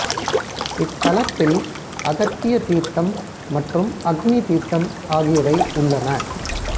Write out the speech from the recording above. இத்தலத்தில் அகத்திய தீர்த்தம் மற்றும் அக்னி தீர்த்தம் ஆகியவை உள்ளன